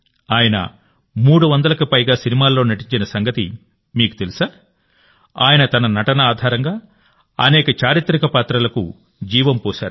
ఆయన 300కి పైగా సినిమాల్లో నటించిన సంగతి మీకు తెలుసా ఆయన తన నటన ఆధారంగా అనేక చారిత్రక పాత్రలకు జీవం పోశారు